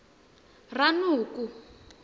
ranoko